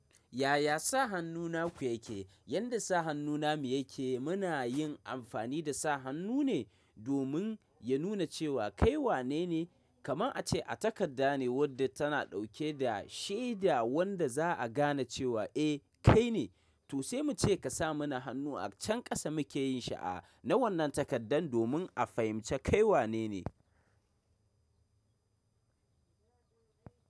Yaya sa hannu naku yake? Yanda sa hannuna mu yake muna yin amfani da sa hannu ne domin ya nuna cewa kai wane ne. Kaman ace a takadda ne wadda tana dauke da shaida wanda za a gane cewa eh kai ne. To sai mu ce ka sa mana hannu a can kasa muke yin sha’a na wannan takaddan domin a fahimci kai wanene.